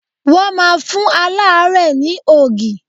Wọ́n máa fún aláàrẹ́ẹ̀ ni ògì.